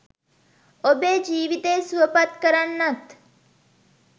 ඔබේ ජීවිතය සුවපත් කරන්නත්